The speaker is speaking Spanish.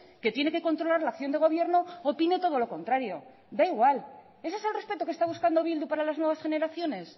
que tiene que controlar la acción de gobierno opine todo lo contrario da igual ese es el respeto que está buscando bildu para las nuevas generaciones